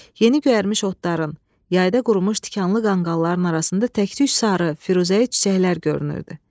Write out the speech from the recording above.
Yeni göyərmiş otların, yayda qurumuş tikanlı qanqalların arasında tək-tük sarı, firuzəyi çiçəklər görünürdü.